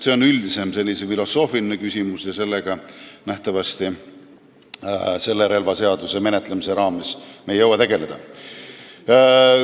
See on üldisem filosoofiline küsimus ja sellega me selle relvaseaduse eelnõu menetlemise raames nähtavasti ei jõua tegeleda.